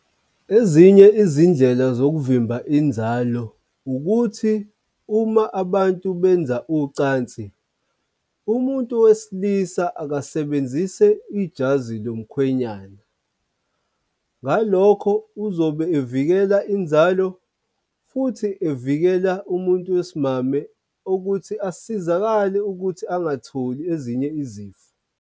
Ezinye izindlela zokuvimba inzalo ukuthi uma abantu benza ucansi, umuntu wesilisa akasebenzise ijazi lomkhwenyana. Ngalokho uzobe evikela inzalo futhi evikela umuntu wesimame ukuthi asizakale ukuthi angatholi ezinye izifo.